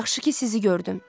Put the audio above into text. Yaxşı ki sizi gördüm.